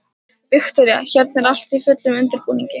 Viktoría: Hérna er allt í fullum undirbúningi?